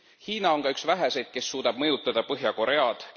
Hiina on ka üks väheseid, kes suudab mõjutada Põhja Koread.